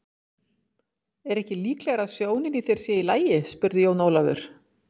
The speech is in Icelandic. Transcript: Er ekki líklegara að sjónin í þér sé ekki í lagi spurði Jón Ólafur.